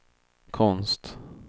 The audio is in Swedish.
konst